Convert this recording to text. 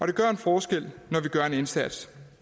det gør en forskel når vi gør en indsats